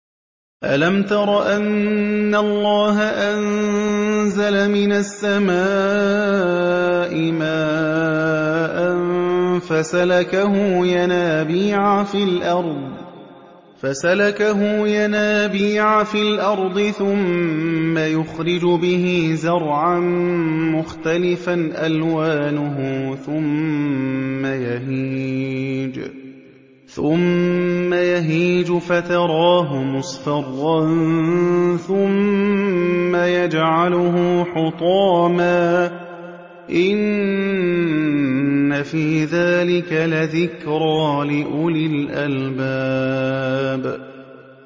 أَلَمْ تَرَ أَنَّ اللَّهَ أَنزَلَ مِنَ السَّمَاءِ مَاءً فَسَلَكَهُ يَنَابِيعَ فِي الْأَرْضِ ثُمَّ يُخْرِجُ بِهِ زَرْعًا مُّخْتَلِفًا أَلْوَانُهُ ثُمَّ يَهِيجُ فَتَرَاهُ مُصْفَرًّا ثُمَّ يَجْعَلُهُ حُطَامًا ۚ إِنَّ فِي ذَٰلِكَ لَذِكْرَىٰ لِأُولِي الْأَلْبَابِ